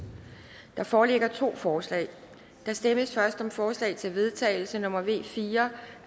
der foreligger to forslag der stemmes først om forslag til vedtagelse nummer v fire